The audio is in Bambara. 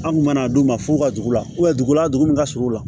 An kun mana d'u ma f'u ka dugu la dugu la dugu min ka surun u la